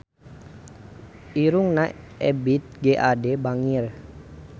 Irungna Ebith G. Ade bangir